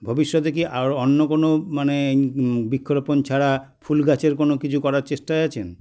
ভবিষ্যতে কী আরও অন্য কোনো মানে হুম বৃক্ষরোপণ ছাড়া ফুলগাছের কোনো কিছু করার চেষ্টায় আছেন